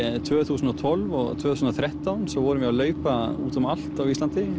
tvö þúsund og tólf og tvö þúsund og þrettán svo vorum við að leita út um allt á Íslandi